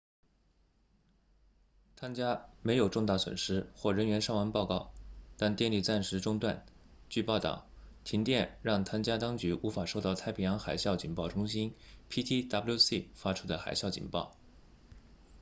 汤加 tonga 没有重大损失或人员伤亡报告但电力暂时中断据报道停电让汤加当局无法收到太平洋海啸警报中心 ptwc 发出的海啸警报